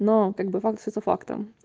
но как бы факт остаётся фактом